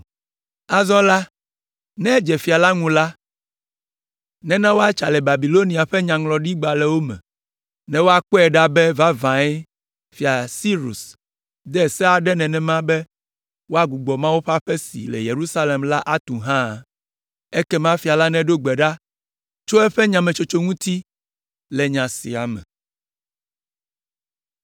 Azɔ la, ne edze fia la ŋu la, nena woatsa le Babilonia ƒe nyaŋlɔɖigbalẽwo me ne woakpɔe ɖa be vavãe fia Sirus de se aɖe nenema be woagbugbɔ Mawu ƒe aƒe si le Yerusalem la atu hã. Ekema fia la neɖo gbe ɖa tso eƒe nyametsotso ŋuti le nya sia me.